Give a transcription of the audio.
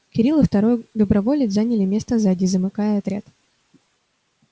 кирилл и второй доброволец заняли место сзади замыкая отряд